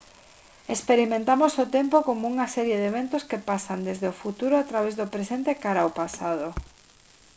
experimentamos o tempo como unha serie de eventos que pasan desde o futuro a través do presente e cara ao pasado